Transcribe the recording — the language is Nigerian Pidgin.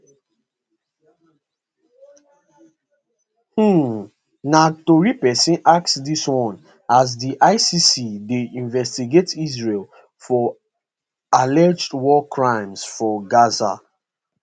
um na tori pesin ask dis one as di icc dey investigate israel for alleged war crimes for gaza